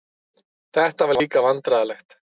Þetta var líka vandræðalegt.